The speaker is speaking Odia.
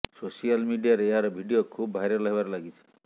ସୋସିଆଲ ମିଡିଆରେ ଏହାର ଭିଡିଓ ଖୁବ ଭାଇରାଲ ହେବାରେ ଲାଗିଛି